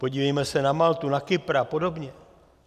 Podívejme se na Maltu, na Kypr a podobně.